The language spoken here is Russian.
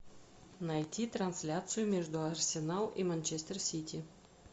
найти трансляцию между арсенал и манчестер сити